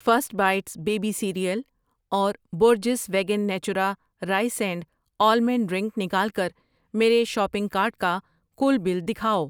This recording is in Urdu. فرسٹ بائیٹس بیبی سیریئل اور Borges vegan Natura rice and almond drink نکال کر میرے شاپنگ کارٹ کا کل بل دکھاؤ۔